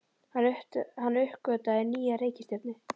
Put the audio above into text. Hann uppgötvaði nýja reikistjörnu!